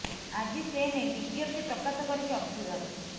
ଆଜି ସେ ନେଇ ବିଜ୍ଞପ୍ତି ପ୍ରକାଶ କରିଛି ଅର୍ଥ ବିଭାଗ